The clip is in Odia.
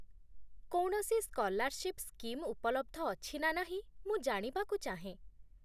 କୌଣସି ସ୍କଲାରସିପ୍ ସ୍କିମ୍ ଉପଲବ୍ଧ ଅଛି ନା ନାହିଁ, ମୁଁ ଜାଣିବାକୁ ଚାହେଁ